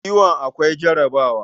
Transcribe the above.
Kiwon awaki akwai riba.